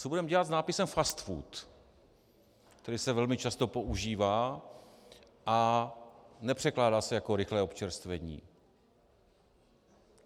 Co budeme dělat s nápisem Fast food, který se velmi často používá a nepřekládá se jako rychlé občerstvení?